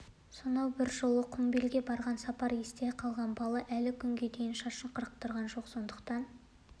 сонау бір жолы құмбелге барған сапар есте қалған бала әлі күнге дейін шашын қырықтырған жоқ сондықтан